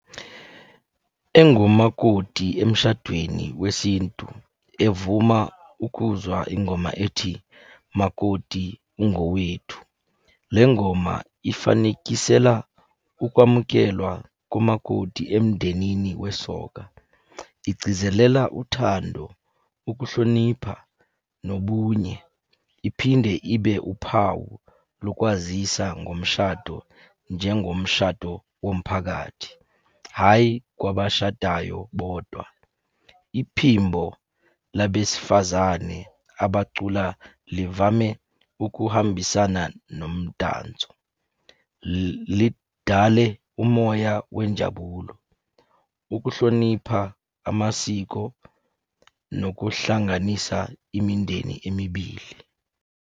Engumakoti emshadweni wesintu, evuma ukuzwa ingoma ethi, makoti ungowethu. Le ngoma ifanekisela ukwamukelwa kumakoti emndenini wesoka. Igcizelela uthando, ukuhlonipha, nobunye. Iphinde ibe uphawu lokwazisa ngomshado, njengomshado womphakathi, hhayi kwabashadayo bodwa. Iphimbo labesifazane abacula livame ukuhambisana nomdanso. Lidale umoya wenjabulo, ukuhlonipha amasiko, nokuhlanganisa imindeni emibili.